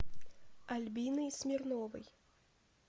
альбиной смирновой